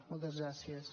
moltes gràcies